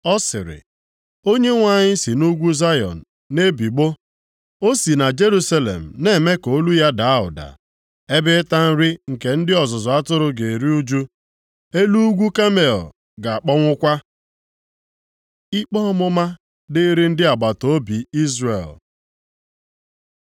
Ọ sịrị, Onyenwe anyị si nʼugwu Zayọn na-ebigbọ, o si na Jerusalem na-eme ka olu ya daa ụda. Ebe ịta nri nke ndị ọzụzụ atụrụ ga-eru ụjụ. Elu ugwu Kamel ga-akpọnwụkwa. Ikpe ọmụma dịrị ndị agbataobi Izrel